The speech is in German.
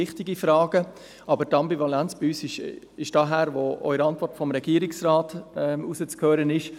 Doch die Ambivalenz, die wir verspüren, ist auch aus der Antwort des Regierungsrats herauszuhören: